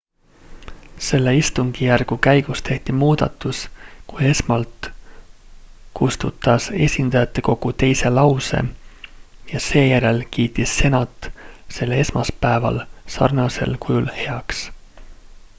selle istungijärgu käigus tehti muudatus kui esmalt kustutas esindajatekogu teise lause ja seejärel kiitis senat selle esmaspäeval sarnasel kujul heaks